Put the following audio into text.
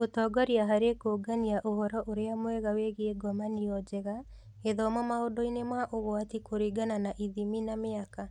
Gũtongoria harĩ kũũngania ũhoro ũrĩa mwega wĩgiĩ ngomanio njega, gĩthomo maũndũ-inĩ ma ũgwati kũringana na ithimi na mĩaka.